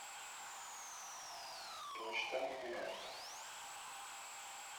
почта банк